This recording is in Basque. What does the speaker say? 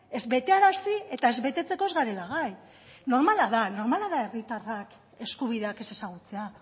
ez betearazi eta ez betetzeko ez garela gai normala da normala da de herritarrak eskubideak ez ezagutzea